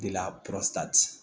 De la